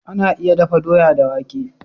Ana iya dafa doya da wake.